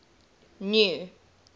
new